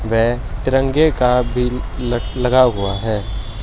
वे तिरंगे का बिल लगा हुआ है।